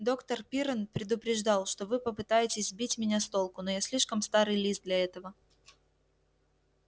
доктор пиренн предупреждал что вы попытаетесь сбить меня с толку но я слишком старый лис для этого